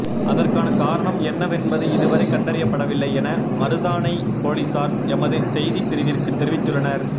அதற்கான காரணம் என்னவென்பது இதுவரை கண்டறியப்படவில்லை என மருதானை பொலிஸார் எமது செய்திப் பிரிவிற்கு தெரிவித்துள்ளனர்